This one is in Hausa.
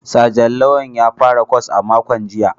Sajan Lawal ya fara kwas a makon jiya